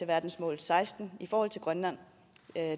verdensmål seksten i forhold til grønland